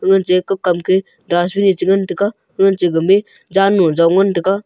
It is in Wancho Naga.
koje kokam keh dustbin ye chingantaga honche gamey zannu jong ntantaga.